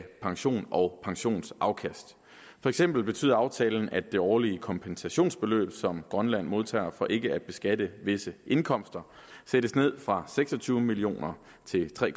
pension og pensionsafkast for eksempel betyder aftalen at det årlige kompensationsbeløb som grønland modtager for ikke at beskatte visse indkomster sættes ned fra seks og tyve million kroner til tre